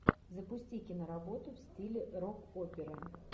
запусти киноработу в стиле рок опера